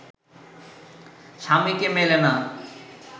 স্বামীকে মেলে না